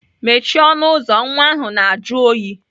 Mechie ọnụ ụzọ nwa ahụ na-ajụ oyi!